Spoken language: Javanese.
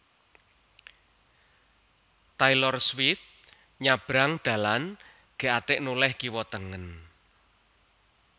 Taylor Swift nyabrang dalan gak atek noleh kiwa tengen